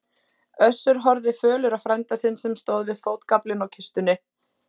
Össur horfði fölur á frænda sinn sem stóð við fótagaflinn á kistunni.